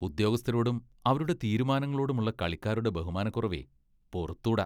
ഉദ്യോഗസ്ഥരോടും, അവരുടെ തീരുമാനങ്ങളോടുമുള്ള കളിക്കാരുടെ ബഹുമാനക്കുറവേ, പൊറുത്തൂട.